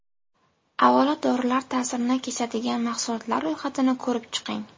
Avvalo dorilar ta’sirini kesadigan mahsulotlar ro‘yxatini ko‘rib chiqing!